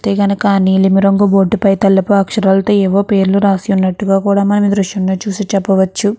చూస్తే కనుక నీలిమి రంగు బోర్డు పై తెలుపు అక్షరాలతో ఏవో పేర్లు రాసినట్టుగా మనము దృశ్యంలో చూసి చెప్పవచ్చు.